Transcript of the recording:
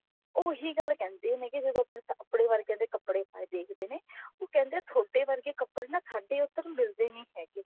ਉਹੀ ਗੱਲ ਕਹਿੰਦੇ ਨੇ ਜਦੋਂ ਆਪਨੇ ਵਰਗਿਆ ਦੇ ਕੱਪੜੇ ਦੇਖਦੇ ਨੇ ਉਹ ਕਹਿੰਦੇ ਨੇ ਥੋਡੇ ਵਰਗੇ ਕੱਪੜੇ ਨਾ ਸਾਡੇ ਏਧਰ ਮਿਲਦੇ ਨਹੀਂ ਹੈਗੇ